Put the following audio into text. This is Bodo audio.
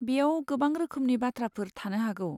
बेयाव गोबां रोखोमनि बाथ्राफोर थानो हागौ।